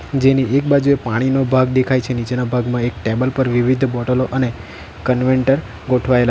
જેની એક બાજુએ પાણીનો ભાગ દેખાય છે નીચેના ભાગમાં એક ટેબલ પર વિવિધ બોટલો અને કન્વેન્ટર ગોઠવાયેલા --